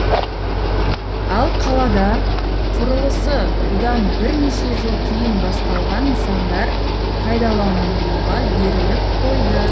ал қалада құрылысы бұдан бірнеше жыл кейін басталған нысандар пайдаланылуға беріліп қойды